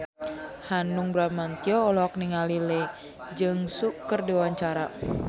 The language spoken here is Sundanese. Hanung Bramantyo olohok ningali Lee Jeong Suk keur diwawancara